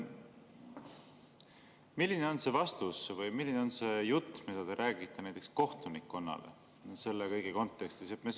Milline on see vastus või milline on see jutt, mida te räägite näiteks kohtunikkonnale selle kõige kontekstis?